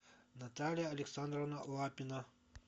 наталья александровна лапина